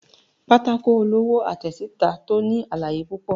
pàtàkó olowo àtesitá to ní àlàyé pupọ